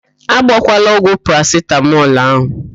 A gbọkwala ọgwụ parasitamọl ahụ!